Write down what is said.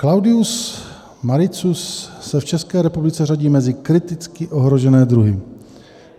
Cladium mariscus se v České republice řadí mezi kriticky ohrožené druhy.